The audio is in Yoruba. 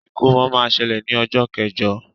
Ìkómọ ma ṣẹlẹ ní ọjọ kẹjọ.